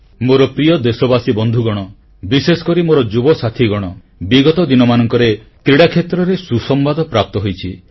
ମୋର ପ୍ରିୟ ଦେଶବାସୀ ବନ୍ଧୁଗଣ ବିଶେଷକରି ମୋର ଯୁବ ସାଥୀଗଣ ବିଗତ ଦିନମାନଙ୍କରେ କ୍ରୀଡ଼ା କ୍ଷେତ୍ରରେ ସୁସମ୍ବାଦ ପ୍ରାପ୍ତ ହୋଇଛି